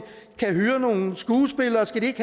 kan hyre nogle skuespillere skal de ikke